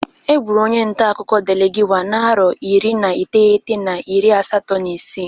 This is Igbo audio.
E gburu onye ntakụkọ Delegiwa na arọ iri na iteghete na iri asatọọ na isi.